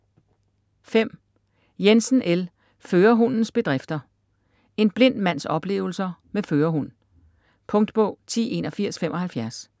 Jensen, L.: Førerhundens Bedrifter: En blind mands oplevelser med Førerhund Punktbog 108175